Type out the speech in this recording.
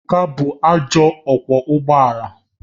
Ebuka bụ ajọ ọkwọ ụgbọ ala